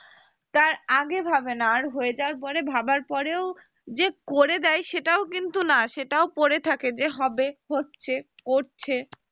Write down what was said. তার আগে ভাবে না, তার হয়ে যাবার পরে ভাবে ভাবার পরেও যে করে দেয় সেটাও কিন্তু না সেটাও পড়ে থাকে যে হবে হচ্ছে করছে